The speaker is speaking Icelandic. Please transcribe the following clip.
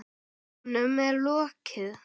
Honum er lokið!